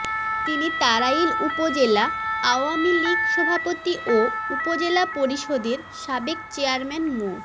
তিনি তাড়াইল উপজেলা আওয়ামী লীগ সভাপতি ও উপজেলা পরিষদের সাবেক চেয়ারম্যান মো